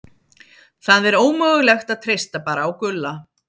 Það er ómögulegt að treysta bara á Gulla.